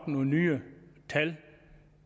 nogle nye tal